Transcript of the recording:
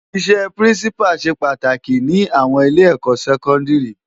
Isè Pirinsipá sé pàtáki ni áwòn ilé èkò sèkòndiri